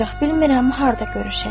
Ancaq bilmirəm harda görüşək.